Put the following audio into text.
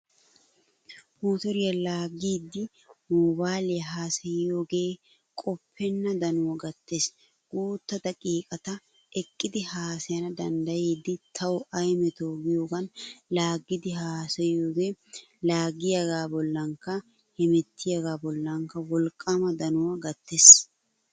Motoriya laaggiiddi moobayliya haasayissiyogee qoppenna danuwan gattees. Guutta daqiiqata eqqidi haasayissana danddayiiddi tawu ay metoo giyogan laaggiiddi haasayissiyogee laaggiyagaa bollankka hemettiyagaa bollankka wolqqaama danuwa gattees.